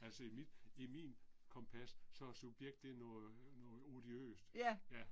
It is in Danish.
Altså i mit i min kompas så er subjekt det er noget noget odiøst. Ja